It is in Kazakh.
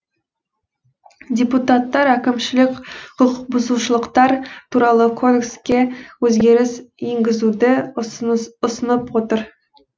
депутаттар әкімшілік құқықбұзушылықтар туралы кодекске өзгеріс енгізуді ұсынып отыр